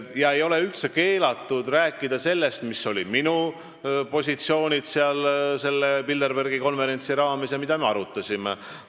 Aga ei ole üldse keelatud rääkida sellest, millised olid minu positsioonid sellel Bilderbergi konverentsil ja mida me arutasime.